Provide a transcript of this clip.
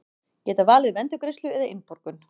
Geta valið um endurgreiðslu eða innborgun